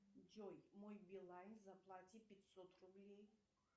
джой мой билайн заплати пятьсот рублей